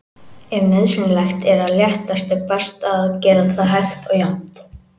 Ef nauðsynlegt er að léttast er best að gera það hægt og jafnt.